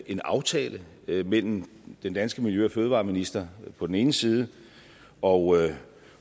en aftale mellem den danske miljø og fødevareminister på den ene side og